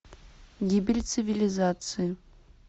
гибель цивилизации